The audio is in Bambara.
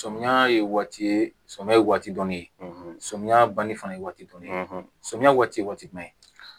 Sɔmiyɛ ye waati ye sɔmiyɛ ye waati dɔnni ye sɔmiya banni fana ye waati dɔ ye samiyɛ waati jumɛn